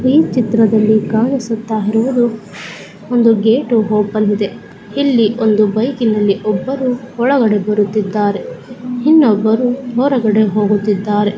ಈ ಚಿತ್ರದಲ್ಲಿ ಕಾಣಿಸುತ್ತಾ ಇರುವುದು ಒಂದು ಗೇಟ್ ಓಪನ್ ಇದೆ ಇಲ್ಲಿ ಒಬ್ಬರು ಬೈಕ್ ನಿಂದ ಒಳಗಡೆ ಬರುತ್ತಿದ್ದಾರೆ ಇನ್ನೊಬ್ಬರು ಹೊರಗಡೆ ಹೋಗುತ್ತಿದ್ದಾರೆ.